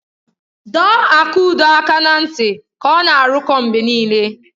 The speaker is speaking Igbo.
Dọọ Akudo aka na ntị ka ọ na-arụkọ mgbe niile!